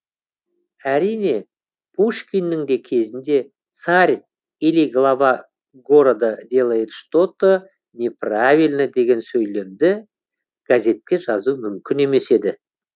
әрине пушкиннің кезінде царь или глава города делает что то не правильно деген сөйлемді газетке жазу мүмкін емес еді